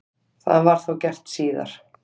Það var þá gert síðar.